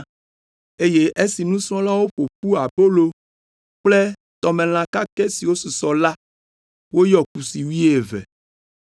eye esi nusrɔ̃lawo ƒo ƒu abolo kple tɔmelã kakɛ siwo susɔ la, woyɔ kusi wuieve.